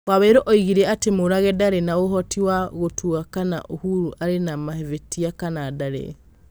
Waweru oigire atĩ Mũrage ndarĩ na ũvoti "wa gũtua kana Uhuru arĩ na mavĩtia kana ndarĩ".